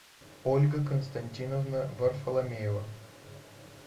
ольга константиновна варфоломеева